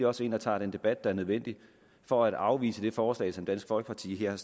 også ind og tager den debat der er nødvendig for at afvise det forslag som dansk folkeparti her har